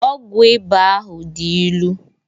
Ọgwụ ịba ahu dị ilu